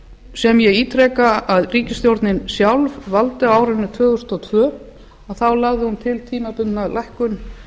sem ég ítreka að ríkisstjórnin sjálf valdi á árinu tvö þúsund og tvö að þá lagði hún til tímabundna lækkun